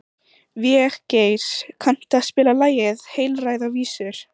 Végeir, kanntu að spila lagið „Heilræðavísur“?